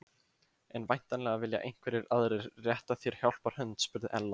En væntanlega vilja einhverjir aðrir rétta þér hjálparhönd? spurði Ella.